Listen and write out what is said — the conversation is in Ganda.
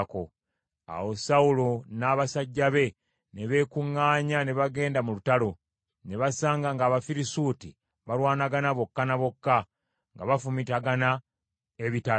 Awo Sawulo n’abasajja be ne beekuŋŋaanya ne bagenda mu lutalo, ne basanga ng’Abafirisuuti balwanagana bokka ne bokka, nga bafumitagana ebitala.